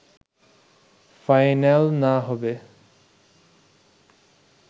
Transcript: final না হবে